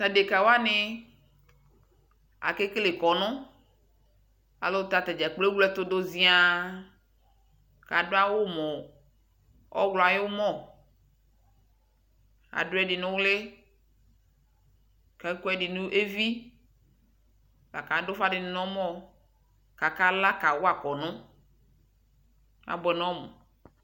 Taɖeka wani, akekele kɔnu Alu tatadza koe ewle ɛtuɗu ziã, kaɖu awu mu ɔwlɔ yu mɔ, aɖuɛɖɩ nu lƖ, akɔɛɗɩ nevɩ akaɖu ufa nɔmɔ kaka lɑ kawa kɔnu Abuɛ nɔmu